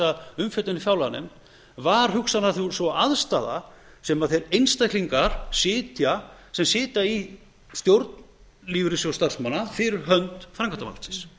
umfjöllun í fjárlaganefnd var hugsanlega sú aðstaða sem þeir einstaklingar sitja sem sitja í stjórn lífeyrissjóðs starfsmanna fyrir hönd framkvæmdarvaldsins